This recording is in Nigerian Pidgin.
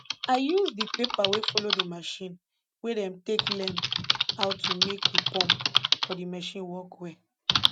i use de paper wey follow d marchin wey dem take learn how to make de pump for de marchin work well